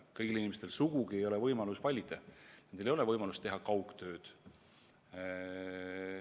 Kõigil inimestel sugugi ei ole võimalus valida, kõigil ei ole võimalust teha kaugtööd.